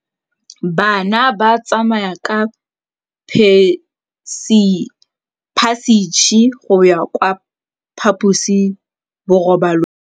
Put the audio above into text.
Bana ba tsamaya ka phašitshe go ya kwa phaposiborobalong.